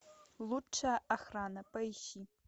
лучшая охрана поищи